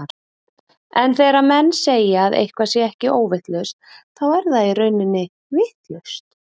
En þegar menn segja að eitthvað sé ekki óvitlaust, þá er það í rauninni vitlaust.